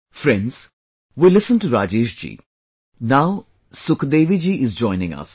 Friends, we listened to Rajesh ji, now Sukh Devi ji is joining us